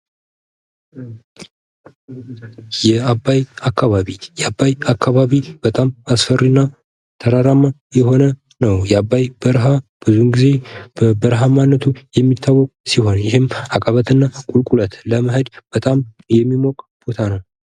የአባይ አካባቢ የአባይ አካባቢ በጣም አስፈሪ እና ተራራማ የሆነ ነው። የአባይ በረሃ ብዙውን ጊዜ በተራራማነቱ የሚታወቅ ሲሆን ይሄም አቀበት እና ቁልቁለት በመሄድ በጣም የሚሞቅ ቦታ ነው።